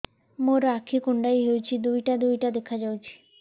ମୋର ଆଖି କୁଣ୍ଡାଇ ହଉଛି ଦିଇଟା ଦିଇଟା ଦେଖା ଯାଉଛି